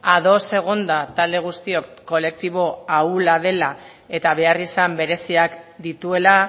ados egonda talde guztiok kolektibo ahula dela eta beharrizan bereziak dituela